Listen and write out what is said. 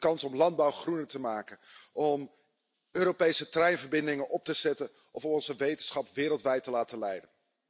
De kans om landbouw groener te maken, om Europese treinverbindingen op te zetten of onze wetenschap wereldwijd te laten leiden.